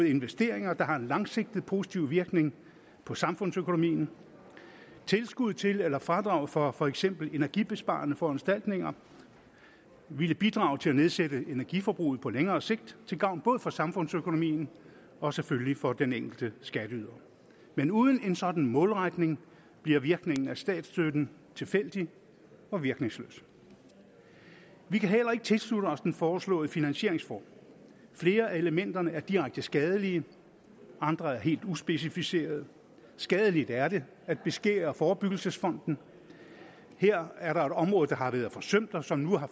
investeringer der har en langsigtet positiv virkning på samfundsøkonomien tilskud til eller fradrag for for eksempel energibesparende foranstaltninger ville bidrage til at nedsætte energiforbruget på længere sigt til gavn både for samfundsøkonomien og selvfølgelig for den enkelte skatteyder men uden en sådan målretning bliver virkningen af statsstøtten tilfældig og virkningsløs vi kan heller ikke tilslutte os den foreslåede finansieringsform flere af elementerne er direkte skadelige og andre helt uspecificerede skadeligt er det at beskære forebyggelsesfonden her er der et område der har været forsømt og som nu er